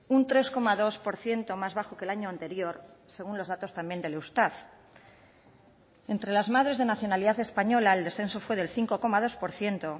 un tres coma dos por ciento más bajo que el año anterior según los datos también del eustat entre las madres de nacionalidad española el descenso fue del cinco coma dos por ciento